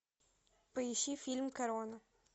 поищи фильм корона